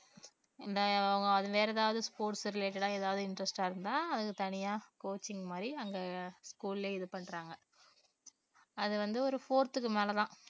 இந்த அஹ் அவங்க வேற ஏதாவது sports related ஆ ஏதாவது interest ஆ இருந்தா அதுக்கு தனியா coaching மாதிரி அங்க school லயே இது பண்றாங்க. அது வந்து ஒரு fourth க்கு மேல தான்